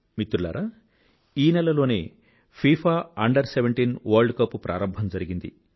మిత్రులారా ఈ నెలలోనే ఫిఫా Under17 వర్ల్డ్ కప్ ప్రారంభం జరిగింది